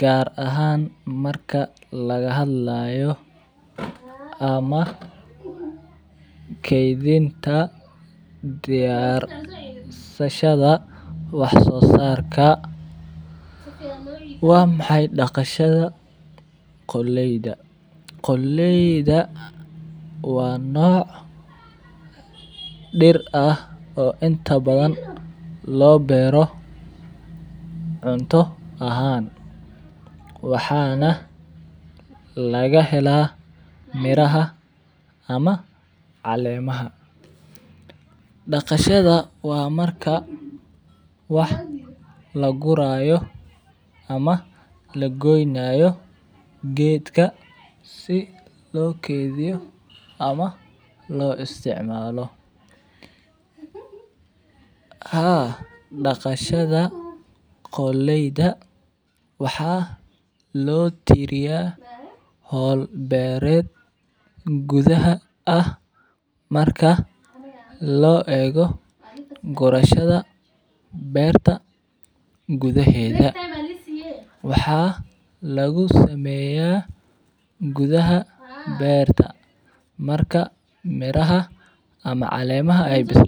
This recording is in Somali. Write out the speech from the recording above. gar ahan marka laga hadlayo ama kedinta diyarsashadha wax sosarka, waa maxay wax sosarka qoleyda, qoleyda waa noc dir ah oo inta badan lo beero cunto ahan waxana laga hela miraha ama calemaha daqashaada waa marka wax lagurayo ama lagoynayo geedka si lo kethiyo ama lo isticmalo, haa daqashaada qoleyda waxaa lo tiriya hol beered gudhaha ah marka lo ego gurashaada beerta gudhaheda waxaa lagu sameya gydhaha beerta marka miraha ama calemaha ee bisladhan.